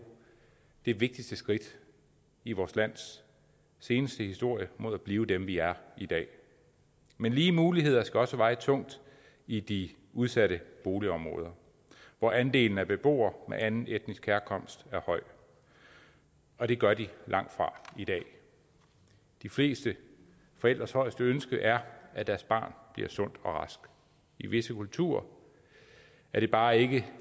det vigtigste skridt i vores lands seneste historie mod at blive dem vi er i dag men lige muligheder skal også veje tungt i de udsatte boligområder hvor andelen af beboere af anden etnisk herkomst er høj og det gør de langt fra i dag de fleste forældres højeste ønske er at deres barn bliver sund og rask i visse kulturer er det bare ikke